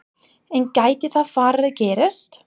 En gæti það farið að gerast?